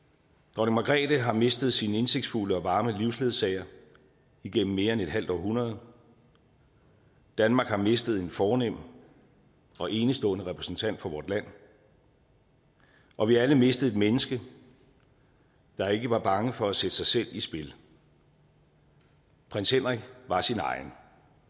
dronning margrethe har mistet sin indsigtsfulde og varme livsledsager igennem mere end et halvt århundrede danmark har mistet en fornem og enestående repræsentant for vort land og vi har alle mistet et menneske der ikke var bange for at sætte sig selv i spil prins henrik var sin egen